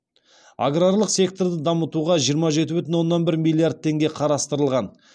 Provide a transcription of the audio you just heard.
аграрлық секторды дамытуға жиырма жеті бүтін оннан бір миллиард теңге қарастырылған